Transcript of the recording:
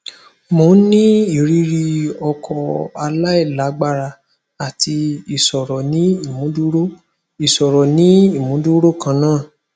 mo n ni iriri okó alailagbara ati iṣoro ni imuduro iṣoro ni imuduro kanna